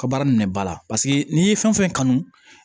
Ka baara minɛ ba la paseke n'i ye fɛn o fɛn kanu